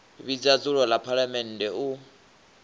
vhidza dzulo ḽa phaḽamennde u